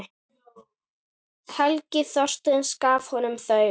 Helgi Þorkels gaf honum þau.